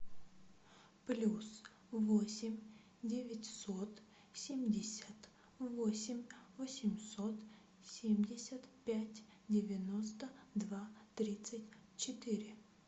плюс восемь девятьсот семьдесят восемь восемьсот семьдесят пять девяносто два тридцать четыре